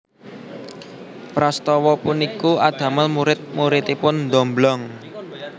Prastawa puniku adamel murid muridipun ndomblong